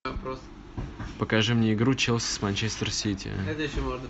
покажи мне игру челси с манчестер сити